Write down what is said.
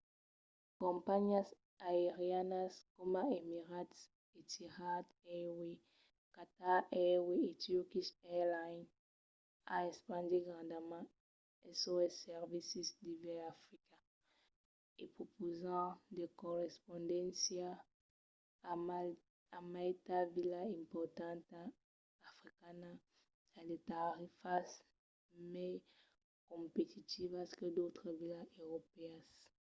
de companhiás aerianas coma emirates etihad airways qatar airways e turkish airlines an espandit grandament sos servicis devers africa e prepausan de correspondéncias a maitas vilas importantas africanas a de tarifas mai competitivas que d’autras vilas europèas